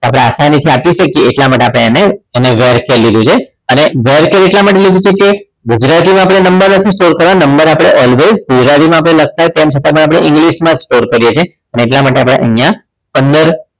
તો આપણે આસાનીથી આપી શકીએ એટલા માટે આપણે એને variable char લીધું છે અને variable char એટલા માટે લીધું છે કે ગુજરાતીમાં આપણે નંબર લખી store કરવા number આપણે ગુજરાતીમાં લખતા હોય તેમ છતાં પણ આપણે english માં જ store કરીએ છીએ અને એટલા માટે આપણે અહીંયા પંદર